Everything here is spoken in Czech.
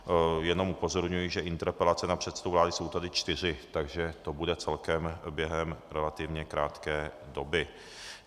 Jenom upozorňuji, že interpelace na předsedu vlády jsou tady čtyři, takže to bude celkem během relativně krátké doby.